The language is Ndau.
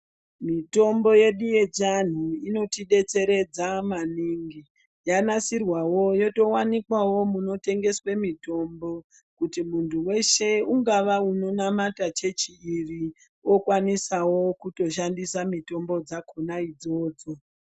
Mitombo yedu yechiantu inotidetseredza maningi yanasirwawo yotowanikwawo munotengeswa mitombo kuti muntu weshe ungava unonamata chechi iri okwanisawo kutoshandisawo mitombo dzakona idzodzo .